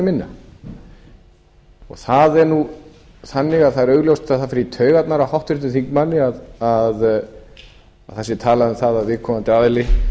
né minna það er þannig að það er augljóst að það fer í taugarnar á háttvirtum þingmanni að það sé talað um að viðkomandi aðili